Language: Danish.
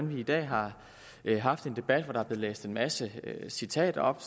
vi i dag har haft en debat hvor der er blevet læst en masse citater op